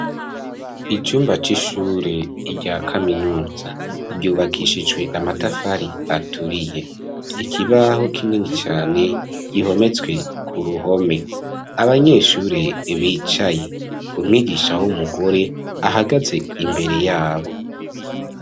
Icumba c'ishure rya kaminuza ryubakishijwe amatafari aturiye. Ikibaho kinini cane gihometswe k'uruhome. Abanyeshure bicaye, umwigisha w'umugore ahagaze imbere y'abo.